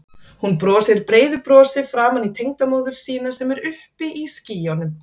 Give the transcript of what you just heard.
Hún brosir breiðu brosi framan í tengdamóður sína sem er uppi í skýjunum.